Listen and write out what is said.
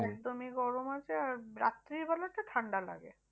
একদমই গরম আছে আর রাত্রিবেলাতে ঠান্ডা লাগে।